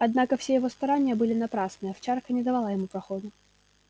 однако все его старания были напрасны овчарка не давала ему проходу